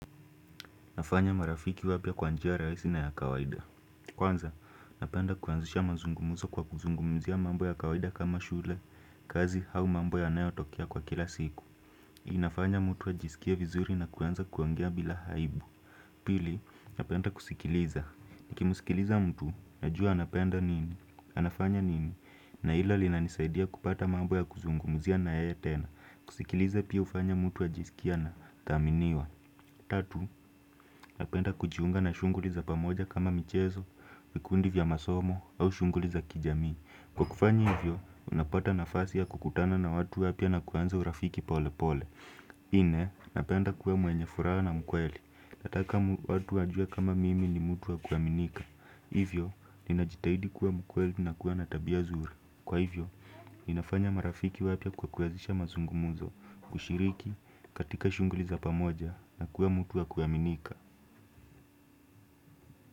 Nafanya marafiki wapya kwa njia rahisi na ya kawaida Kwanza, napenda kuanzisha mazungumuzo kwa kuzungumuzia mambo ya kawaida kama shule kazi au mambo yanayo tokea kwa kila siku inafanya mtu ajisikie vizuri na kwanza kuongea bila aibu Pili, napenda kusikiliza Niki musikiliza mtu, najua napenda nini? Anafanya nini? Na ila lina nisaidia kupata mambo ya kuzungumuzia na yeye tena. Kusikiliza pia hufanya mtu ajisikie na thaminiwa Tatu, napenda kujiunga na shunguliza pamoja kama michezo, vikundi vya masomo au shunguli za kijamii. Kwa kufanya hivyo, unapata nafasi ya kukutana na watu wapya na kuanza urafiki pole pole. Nne, napenda kuwa mwenye furaha na mkweli. Nataka watu wajue kama mimi ni mtu wa kuaminika. Hivyo, ninajitahidi kuwa mkweli na kuwa natabia nzuri. Kwa hivyo, ninafanya marafiki wapya kwa kuazisha mazungumuzo kushiriki katika shunguli za pamoja na kuwa mtu wa kuaminika.